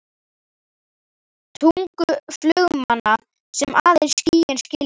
tungu flugmanna sem aðeins skýin skilja.